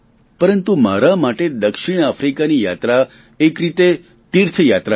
પરંતુ મારા માટે દક્ષિણ આફ્રીકાની યાત્રા એક રીતે તીર્થ યાત્રા હતી